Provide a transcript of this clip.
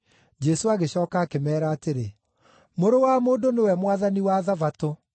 Jesũ agĩcooka akĩmeera atĩrĩ, “Mũrũ wa Mũndũ nĩwe Mwathani wa Thabatũ.”